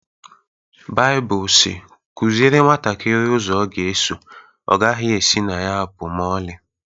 Baibụl si "Kụziere nwantakịrị ụzọ ọ ga-eso, ọ gaghị esi na ya pụọ ​​ma ọlị"